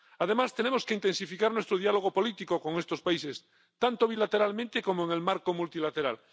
Además, tenemos que intensificar nuestro diálogo político con estos países, tanto bilateralmente como en el marco multilateral.